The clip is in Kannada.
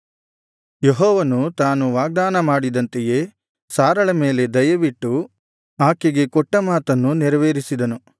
ಯೆಹೋವನು ತಾನು ವಾಗ್ದಾನ ಮಾಡಿದಂತೆಯೇ ಸಾರಳ ಮೇಲೆ ದಯವಿಟ್ಟು ಆಕೆಗೆ ಕೊಟ್ಟ ಮಾತನ್ನು ನೆರವೇರಿಸಿದನು